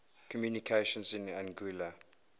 communications in anguilla